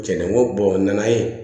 Cɛn na n ko n nana ye